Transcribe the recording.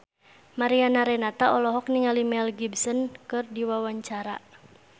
Mariana Renata olohok ningali Mel Gibson keur diwawancara